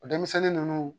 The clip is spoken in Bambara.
O denmisɛnnin ninnu